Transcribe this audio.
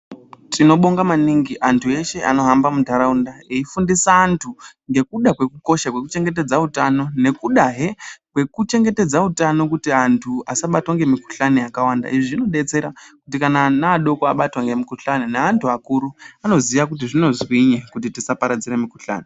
Tinobonga maningi antu eshe anohamba muntaraunda eifundisa antu ngekuda kwekukosha kwekuchingetedza utano nekudahe kwekuchengetedza utano kuti antu asabatwa ngemikhuhlani yakawanda izvi zvinodetsera kuti ana adoko abatwa ngemikhuhlane neantu akuru anoziya kuti zvinozwinyi kuti tisaparadzire mikhuhlane.